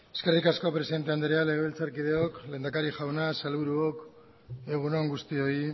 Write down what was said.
eskerrik asko presidente andrea legebiltzarkideok lehendakari jauna sailburuok egun on guztioi